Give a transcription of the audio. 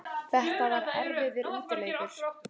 Þetta var erfiður útileikur